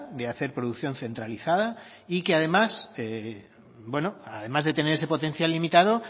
de hacer producción centralizada y que además de tener ese potencial limitado